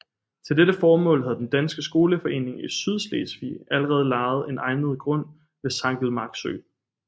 Til dette formål havde den danske skoleforening i Sydslesvig allerede lejet en egnet grund ved Sankelmark Sø